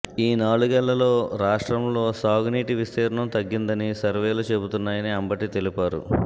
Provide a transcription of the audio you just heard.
ఈ నాలుగేళ్లలో రాష్ర్టంలో సాగునీటి విస్తిర్ణంతగ్గిందని సర్వేలు చెప్తున్నాయని అంబటి తెలిపారు